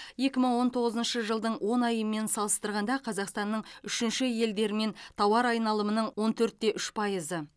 екі мың он тоғызыншы жылдың он айымен салыстырғанда қазақстанның үшінші елдермен тауар айналымының он төрт те үш пайызы